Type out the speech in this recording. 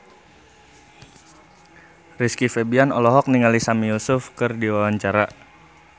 Rizky Febian olohok ningali Sami Yusuf keur diwawancara